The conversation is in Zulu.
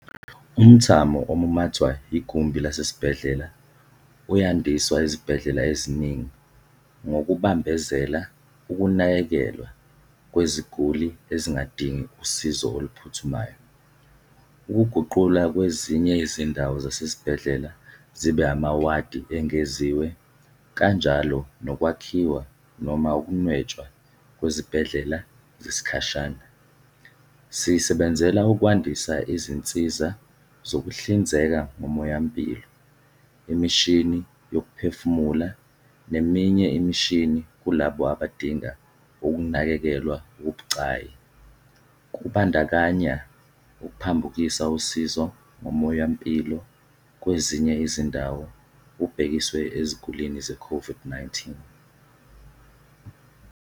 Umthamo omumathwa yigumbi lasesibhedlela uyandiswa ezibhedlela eziningi ngokubambezela ukunakekelwa kweziguli ezingadingi usizo oluphuthumayo, ukuguqulwa kwezinye izindawo zasezibhedlela zibe amawadi engeziwe kanjalo nokwakhiwa noma ukunwetshwa kwezibhedlela zesikhashana. Sisebenzela ukwandisa izinsiza zokuhlinzeka ngomoyampilo, imishini yokuphefumula neminye imishini kulabo abadinga ukunakekelwa okubucayi, kubandakanya ukuphambukisa usizo ngomoyampilo kwezinye izindawo ubhekiswe ezigulini ze-COVID-19.